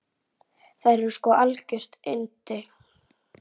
Þær eru sko algjör yndi.